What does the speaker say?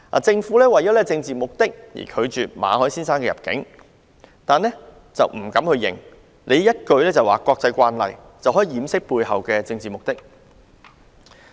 政府為政治目的而拒絕馬凱先生入境，只是不敢承認，以一句"國際慣例"掩飾背後的政治目的。